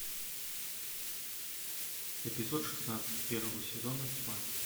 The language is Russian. эпизод шестнадцать первого сезона тьма